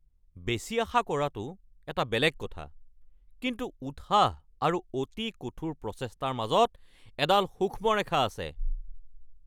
বেছি আশা কৰাটো এটা বেলেগ কথা, কিন্তু উৎসাহ আৰু অতি কঠোৰ প্ৰচেষ্টাৰ মাজত এডাল সূক্ষ্ম ৰেখা আছে।